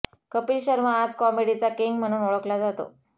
कपिल शर्मा आज कॉमेडीचा किंग म्हणून ओळखला जातो